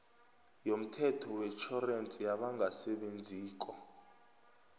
yomthetho wetjhorensi yabangasebenziko